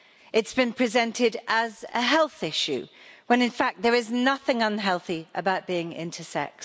This been presented as a health issue, when in fact there is nothing unhealthy about being intersex.